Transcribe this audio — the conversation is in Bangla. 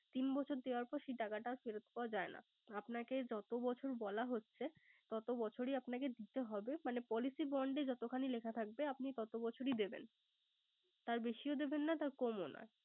তিন বছর দেওয়ার পর সেই টাকাটা ফেরত পাওয়া যায় না। আপনকে যত বছর বলা হচ্ছে তত বছরেই আপনাকে দিতে হবে। মানে Policy bond এ যতখানি লেখা থাকবে আপনি তত বছরই দিবেন। তার বেশিও দিবেন না কমও না